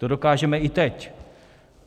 To dokážeme i teď.